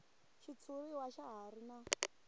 xitshuriwa xa ha ri na